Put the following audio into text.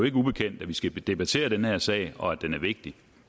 ikke ubekendt at vi skal debattere den her sag og at den er vigtig